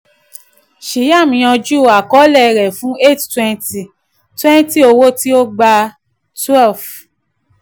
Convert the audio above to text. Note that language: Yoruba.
shyam yanjú àkọọ́lẹ̀ rẹ̀ fún eight twenty twenty owó tí ó gbà twelve